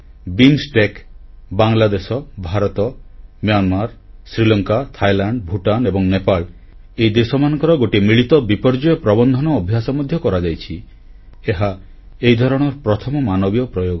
BIMSTEC Bangladesh Bharat Myanmar Sri Lanka Thailand Bhutan ଏବଂ ନେପାଳ ଏହି ଦେଶମାନଙ୍କର ଗୋଟିଏ ମିଳିତ ବିପର୍ଯ୍ୟୟ ପ୍ରବନ୍ଧନ ଅଭ୍ୟାସ ମଧ୍ୟ କରାଯାଇଅଛି ଏହା ଏହି ଧରଣର ପ୍ରଥମ ମାନବୀୟ ପ୍ରୟୋଗ